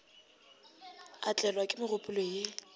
a tlelwa ke megopolo ye